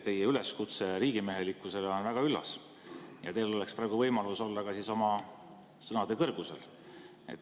Teie üleskutse riigimehelikkusele on väga üllas ja teil oleks praegu võimalus olla oma sõnade kõrgusel.